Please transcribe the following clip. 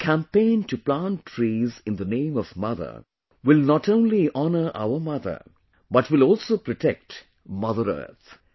The campaign to plant trees in the name of mother will not only honor our mother, but will also protect Mother Earth